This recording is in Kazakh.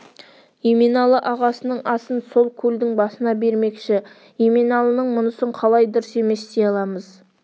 еменалы ағасының асын сол келдің басында бермекші еменалының мұнысын қалай дұрыс емес дей аламыз